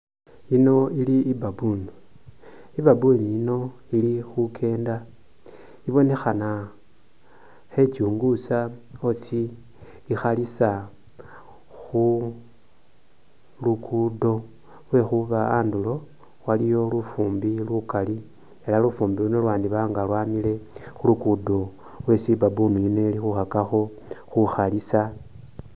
Iyino ili i'baboon, i'baboon yino ili khukeenda ibonekhana khechunguusa osi ikhalisa khu luguudo lwekhuba andulo waliyo lufuumbi lukaali ela lufuumbi luno lwandiba nga lwamile khu luguudo lwesi i'baboon yino ili khukhakakho khukhalisa.